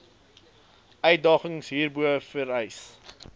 uitdagings hierbo vereis